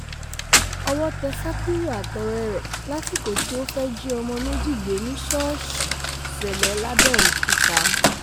ọwọ́ tẹ́ sakiru àtọ̀rẹ́ ẹ̀ lásìkò tí ọ́n fẹ́ẹ́ jí ọmọ méjì gbé ní ṣọ́ọ̀ṣì ṣẹlẹ̀ lábẹ̀ọ́kútà